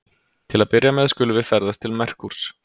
Til að byrja með skulum við ferðast til Merkúrs.